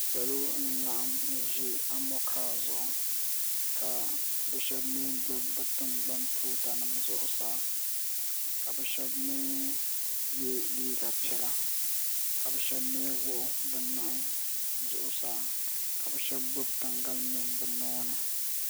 Salo n laɣim zi amonkaa zuɣu ka bi shɛba mi gbubi bi tiŋgbani tuuta nima zuɣusaa ka bi shɛba mi yiɛ liiga piɛlla ka bi shɛba mi wuɣi bi nuhi zuɣusaa ka bi shɛba gbubi taŋgalimihi bi nuuni.